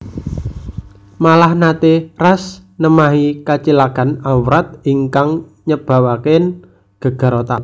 Malah naté Ras nemahi kacilakan awrat ingkang nyababaken gegar otak